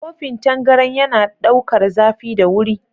Kofin tangaran yana ɗaukar zafi da wuri.